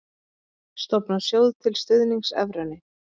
Stofna sjóð til stuðnings evrunni